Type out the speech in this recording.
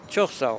Çox sağ ol.